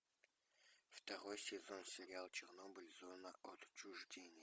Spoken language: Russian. второй сезон сериал чернобыль зона отчуждения